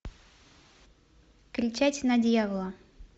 кричать на дьявола